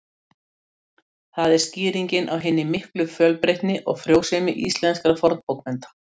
Það er skýringin á hinni miklu fjölbreytni og frjósemi íslenskra fornbókmennta.